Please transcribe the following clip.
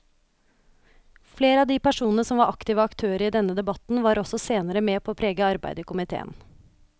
Flere av de personene som var aktive aktører i denne debatten var også senere med på å prege arbeidet i komiteen.